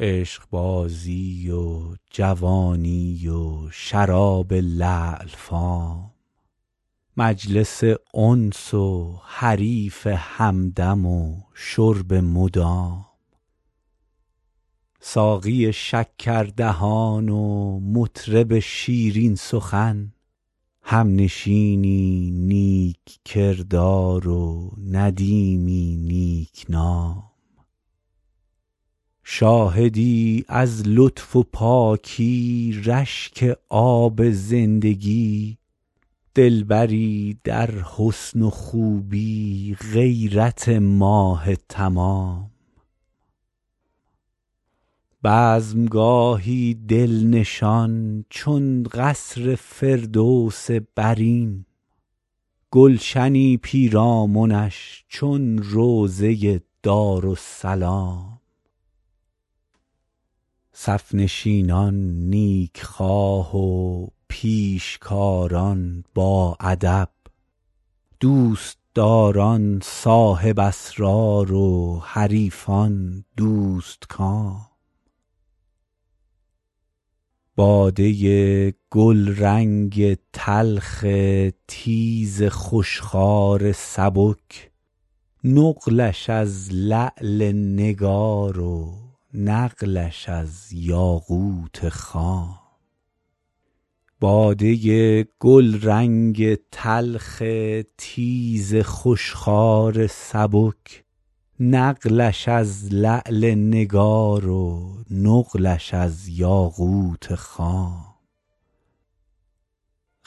عشقبازی و جوانی و شراب لعل فام مجلس انس و حریف همدم و شرب مدام ساقی شکردهان و مطرب شیرین سخن همنشینی نیک کردار و ندیمی نیک نام شاهدی از لطف و پاکی رشک آب زندگی دلبری در حسن و خوبی غیرت ماه تمام بزم گاهی دل نشان چون قصر فردوس برین گلشنی پیرامنش چون روضه دارالسلام صف نشینان نیک خواه و پیشکاران باادب دوست داران صاحب اسرار و حریفان دوست کام باده گلرنگ تلخ تیز خوش خوار سبک نقلش از لعل نگار و نقلش از یاقوت خام